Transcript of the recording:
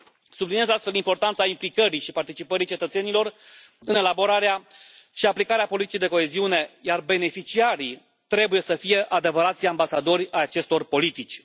Subliniez astfel importanța implicării și participării cetățenilor în elaborarea și aplicarea politicii de coeziune, iar beneficiarii trebuie să fie adevărații ambasadori ai acestor politici.